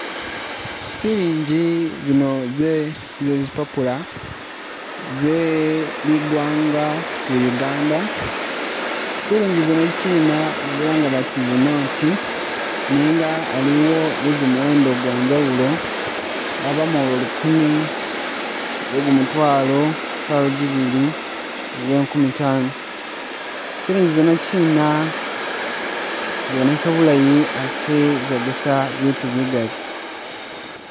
Silingi zino ze zipapula ze ligwanga lya Uganda. Silingi zino kina bazilanga bati zi note nenga aliwo ze gumuwenda gwanjawulo, abamu lwa lukuumi, kwe gumutwalo lwa gibili ni lwa nkumi taano. Silingi zino kina ziboneka bulayi ate zogesa bitu bigali.